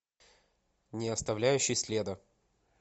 не оставляющий следа